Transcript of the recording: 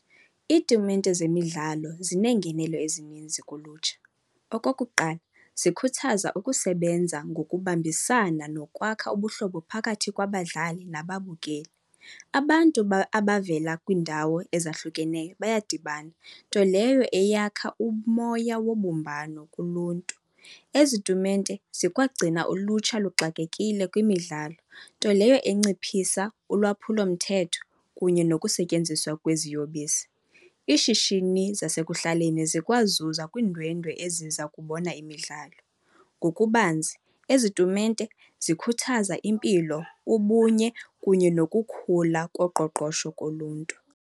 Iitumente zemidlalo zineengenelo ezininzi kulutsha. Okokuqala zikhuthaza ukusebenza ngokubambisana nokwakha ubuhlobo phakathi kwabadlali nababukeli. Abantu abavela kwiindawo ezahlukeneyo bayadibana, nto leyo eyakha umoya wobumbano kuluntu. Ezi tumente zikwagcina ulutsha luxakekile kwimidlalo, nto leyo enciphisa ulwaphulomthetho kunye nokusetyenziswa kweziyobisi. Iishishini zasekuhlaleni zikwazuza kwiindwendwe eziza kubona imidlalo. Ngokubanzi ezi tumente zikhuthaza impilo, ubunye kunye nokukhula koqoqosho koluntu.